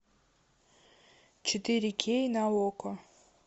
четыре кей на окко